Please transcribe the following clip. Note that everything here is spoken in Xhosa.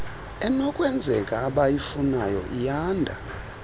enokwenzeka abayifunayo iyanda